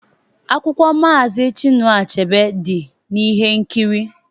Akwụkwọ Maazi Chinua Achebe dị n'ihe nkiri